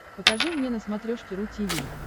покажи мне на смотрешке ру ти ви